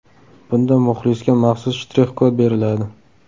Bunda muxlisga maxsus shtrix kod beriladi.